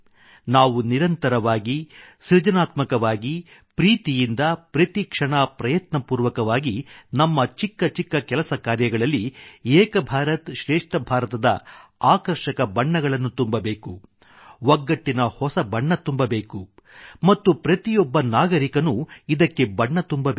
ನಾವು ನಿರಂತರವಾಗಿ ನಮ್ಮ ಸೃಜನಾತ್ಮಕವಾಗಿ ಪ್ರೀತಿಯಿಂದ ಪ್ರತಿ ಕ್ಷಣ ಪ್ರಯತ್ನಪೂರ್ವಕವಾಗಿ ನಮ್ಮ ಚಿಕ್ಕ ಚಿಕ್ಕ ಕೆಲಸ ಕಾರ್ಯಗಳಲ್ಲಿ ಏಕ್ ಭಾರತ ಶ್ರೇಷ್ಠ ಭಾರತದ ಆಕರ್ಷಕ ಬಣ್ಣಗಳನ್ನು ತುಂಬಬೇಕು ಒಗ್ಗಟ್ಟಿನ ಹೊಸ ಬಣ್ಣ ತುಂಬಬೇಕು ಮತ್ತು ಪ್ರತಿಯೊಬ್ಬ ನಾಗರಿಕನೂ ಇದಕ್ಕೆ ಬಣ್ಣ ತುಂಬಬೇಕು